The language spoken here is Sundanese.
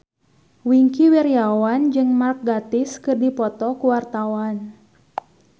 Wingky Wiryawan jeung Mark Gatiss keur dipoto ku wartawan